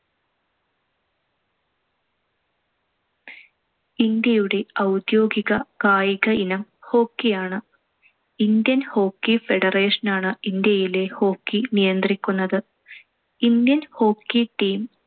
ഇന്ത്യയുടെ ഔദ്യോഗിക കായിക ഇനം hockey യാണ്‌. ഇന്ത്യൻ ഹോക്കി ഫെഡറേഷനാണ്‌ ഇന്ത്യയിലെ hockey നിയന്ത്രിക്കുന്നത്. Indian hockey team